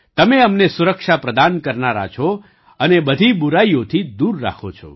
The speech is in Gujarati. તમે અમને સુરક્ષા પ્રદાન કરનારા છો અને બધી બુરાઈઓથી દૂર રાખો છો